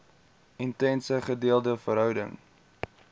intense gedeelde verhouding